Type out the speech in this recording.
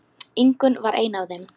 Ingunn var ein af þeim.